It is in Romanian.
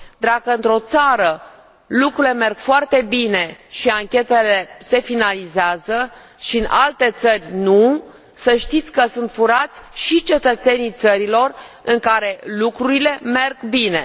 Dacă într o țară lucrurile merg foarte bine și anchetele se finalizează și în alte țări nu, să știți că sunt furați și cetățenii țărilor în care lucrurile merg bine.